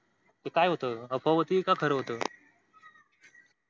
ते काय होत अफवा होत का खार होत.